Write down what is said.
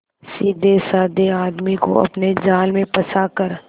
सीधेसाधे आदमी को अपने जाल में फंसा कर